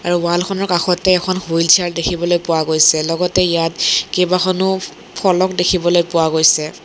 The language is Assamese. আৰু ৱাল খনৰ কাষতে এখন হুইল চিয়াৰো দেখিবলৈ পোৱা গৈছে লগতে ইয়াত কেইবাখনো ফলক দেখিবলৈ পোৱা গৈছে।